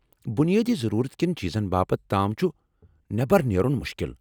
بنیٲدی ضرورت كیٚن چیٖزن باپتھ تام چُھ نیٚبر نیرُن مُشکل ۔